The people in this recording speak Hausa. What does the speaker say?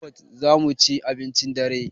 A pizza hot zamuci abincin dare